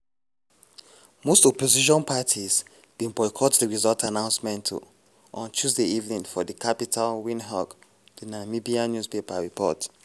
most opposition parties bin boycott di results announcement um on tuesday evening for di capital windhoek di namibian newspaper report.